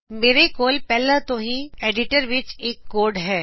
ਮੇਰੇ ਕੋਲ ਪਹਿਲਾ ਤੋ ਹੀ ਟੈਕਸਟ ਐਡਿਟਰ ਵਿਚ ਇਕ ਕੋਡ ਹੈ